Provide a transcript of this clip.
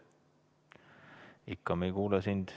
Me ikka ei kuule sind.